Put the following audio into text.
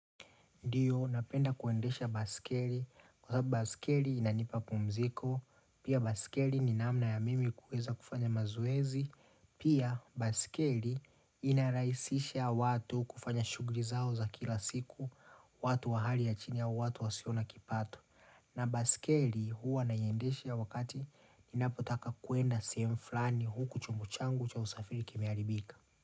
Ndiyo, napenda kuendesha basikeli, kwa sababu basikeli inanipa pumziko, pia basikeli ni namna ya mimi kuweza kufanya mazoezi, pia basikeli inarahisisha watu kufanya shughuli zao za kila siku, watu wa hali ya chini ya watu wa siona kipato. Na basikeli huwa naieyendesha wakati ninapotaka kwenda sehemu flani huku chombo changu cha usafiri kimeharibika.